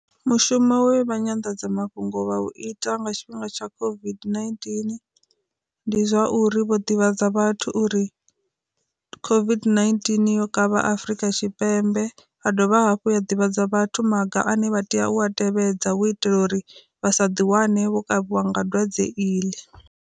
Mushumo we vha nyanḓadzamafhungo vha u ita nga tshifhinga tsha COVID-19, ndi zwauri vho ḓivhadza vhathu uri COVID-19 yo kavha Afrika Tshipembe, a dovha hafhu ya ḓivhadza vhathu maga ane vha tea u a tevhedza u itela uri vha sa ḓi wane vho kavhiwa nga dwadze iḽi.